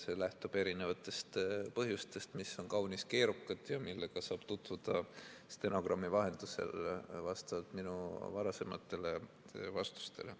See lähtub erinevatest põhjustest, mis on kaunis keerukad ja millega saab tutvuda stenogrammi vahendusel vastavalt minu varasematele vastustele.